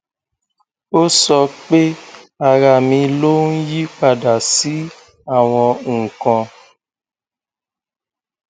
ó sọ pé ara mi ló ń yiípadà sí àwọn nǹkan